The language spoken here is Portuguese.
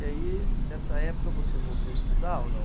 E aí, nessa época, você voltou a estudar ou não?